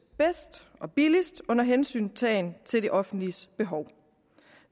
bedst og billigst under hensyntagen til det offentliges behov